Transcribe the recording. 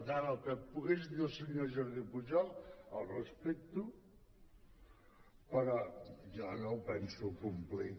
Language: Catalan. per tant el que pogués dir el senyor jordi pujol ho respecto però jo no ho penso complir